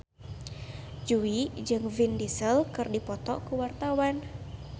Jui jeung Vin Diesel keur dipoto ku wartawan